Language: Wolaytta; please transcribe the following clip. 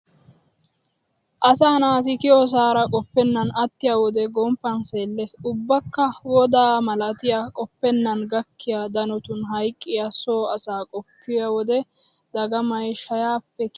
Asaa naati kiyosaara qoppennan attiyo wode gomppan seellees. ubbakka woddaa malatiya qoppennan gakkiya danotun hayqqiya so asaa qoppiyo wode dagamay shayaappe kiyenna.